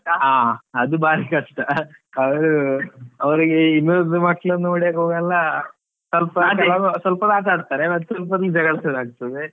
ಆ ಅದು ಬಾರೀ ಕಷ್ಟ, ಅವ್ರು ಅವ್ರಿಗೆ ಇನ್ನೊಂದ್ ಮಕ್ಳನ್ನು ನೋಡಿದಾಗ ಅವೆಲ್ಲ ಸ್ವಲ್ಪ ಸ್ವಲ್ಪ ಹೊತ್ತು ಆಟ ಆಡ್ತಾರೆ ಮತ್ ಸ್ವಲ್ಪ ಹೊತ್ತಲ್ಲಿ ಜಗಳ ಶುರು ಆಗ್ತದೆ.